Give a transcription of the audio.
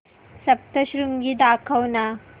सप्तशृंगी दाखव ना